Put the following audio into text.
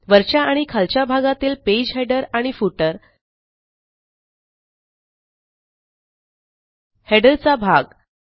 वरच्या आणि खालच्या भागातील पेज हेडर आणि फुटर हेडर चा भाग